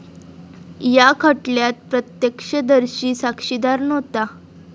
या खटल्यात प्रत्यक्षदर्शी साक्षीदार नव्हता.